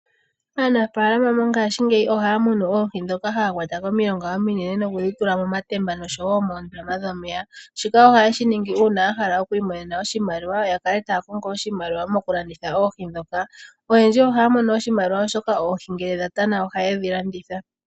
Aanafalama mongaashingeyi ohaya munu oohi, ndhoka haya kwata komilonga ominene, nokudhi tula momatemba, noshowo moondama dhomeya. Shika ohayeshi ningi uuna yahala okwiimonena oshimaliwa, yakale taya kongo oshimaliwa moku landitha oohi ndhoka. Oyendji ohaya mono oshimaliwa, oshoka oohi ngele dha tana, ohayedhi landitha.